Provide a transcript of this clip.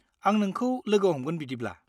आं नोंखौ लोगो हमगोन बिदिब्ला।